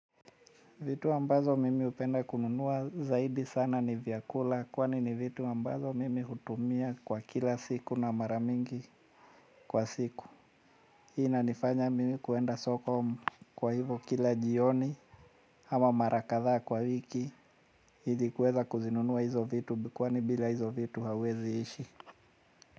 Vitu ambazo mimi hupenda kununua zaidi sana ni vyakula kwani ni vitu ambazo mimi hutumia kwa kila siku na mara mingi kwa siku. Hii na inifanya mimi kuenda soko kwa hivo kila jioni ama mara kadhaa kwa wiki ili kuweza kuzinunua hizo vitu kwani bila hizo vitu hauwezi ishi.